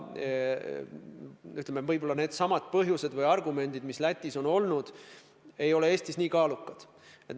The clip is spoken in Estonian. Seepärast võib-olla needsamad argumendid, mis Lätis on olnud, ei ole Eestis nii kaalukad.